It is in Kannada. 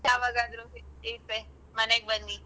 ಯಾವಾಗಾದ್ರೂ free ಇದ್ರೆ ಮನೆಗ್ ಬನ್ನಿ.